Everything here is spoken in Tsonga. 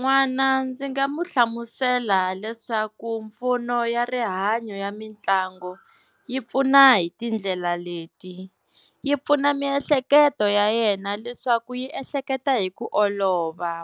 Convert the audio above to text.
N'wana ndzi nga mu hlamusela leswaku mimpfuno ya rihanyo ya mitlangu yi pfuna hi tindlela leti, yi pfuna miehleketo ya yena leswaku yi ehleketa hi ku olova,